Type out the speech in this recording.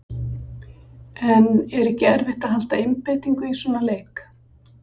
En er ekki erfitt að halda einbeitingu í svona leik?